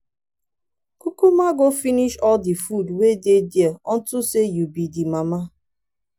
kukuma go finish all the food wey dey there unto say you be the mama.